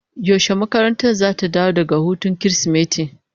Yaushe makarantar zata dawo daga hutun Kirsimeti?